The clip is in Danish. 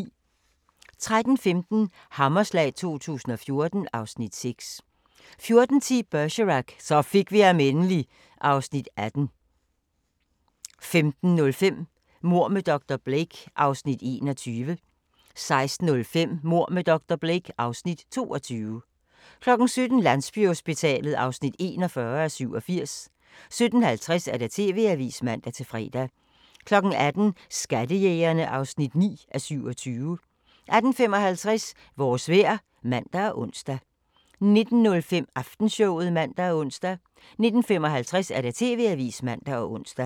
13:15: Hammerslag 2014 (Afs. 6) 14:10: Bergerac: Så fik vi ham endelig (Afs. 18) 15:05: Mord med dr. Blake (Afs. 21) 16:05: Mord med dr. Blake (Afs. 22) 17:00: Landsbyhospitalet (41:87) 17:50: TV-avisen (man-fre) 18:00: Skattejægerne (9:27) 18:55: Vores vejr (man og ons) 19:05: Aftenshowet (man og ons) 19:55: TV-avisen (man og ons)